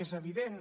és evident